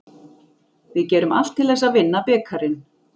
Við gerum allt til þess að vinna bikarinn.